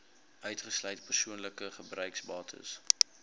uitgesluit persoonlike gebruiksbates